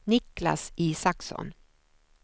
Niklas Isaksson